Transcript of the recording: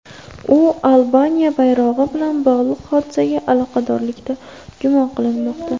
U Albaniya bayrog‘i bilan bog‘liq hodisaga aloqadorlikda gumon qilinmoqda.